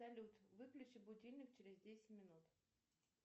салют выключи будильник через десять минут